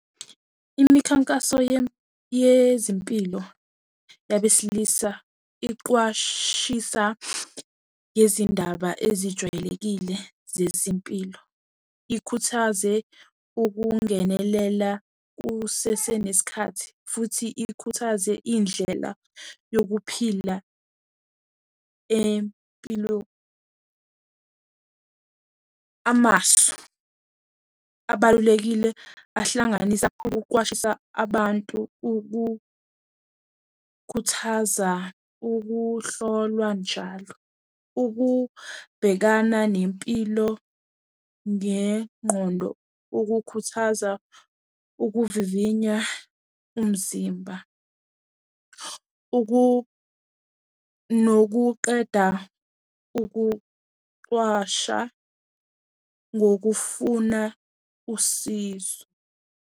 Imikhankaso yezempilo yabesilisa iqwashisa ngezindaba ezijwayelekile zezempilo. Ikhuthaze ukungenelela kusesenesikhathi futhi ikhuthaze indlela yokuphila empilo. Amasu, abalulekile ahlanganisa kakhulu ukuqwashisa abantu, ukukhuthaza ukuhlolwa njalo, ukubhekana nempilo ngengqondo, ukukhuthaza ukuvivinya umzimba, nokuqeda ukuqwasha ngokufuna usizo.